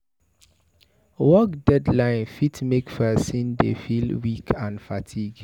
work deadline fit make person dey feel weak and fatigue